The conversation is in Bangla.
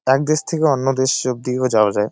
এক দেশ থেকে অন্য দেশ অবধিও যাওয়া যায় ।